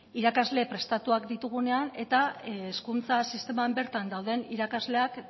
irakasle prestatuak ditugunean eta hezkuntza sisteman bertan dauden irakasleak